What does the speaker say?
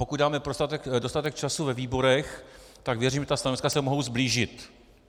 Pokud dáme dostatek času ve výborech, tak věřím, že ta stanoviska se mohou sblížit.